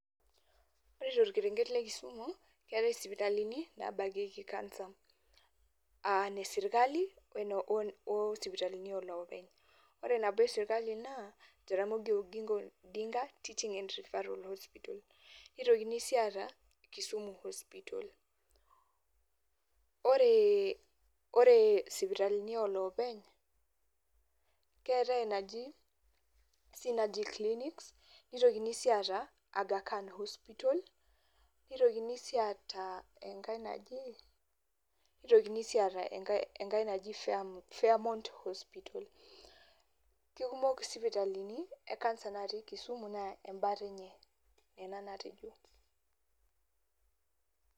Ore torkerenket le Kisumu keetae isipitalini nabakieki cancer. Ah nesirkali o sipitalini olopeny. Ore nabo esirkali naa, Jaramogi Oginga Odinga teaching and referral hospital. Nitokini si ata Kisumu hospital. Ore sipitalini olopeny, keetae enaji Sinaji Clinic, nitokini si ata Agha Khan hospital, nitokini si ata enkae naji, nitokini si ata enkae naji Faremont hospital. Kekumok sipitalini e cancer natii Kisumu naa embata enye nena natejo.